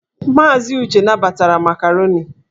Maazị Uche nabatara makaroni.